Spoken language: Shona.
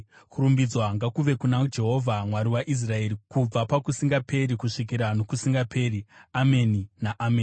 Kurumbidzwa ngakuve kuna Jehovha, Mwari waIsraeri, kubva pakusingaperi kusvikira nokusingaperi. Ameni naAmeni.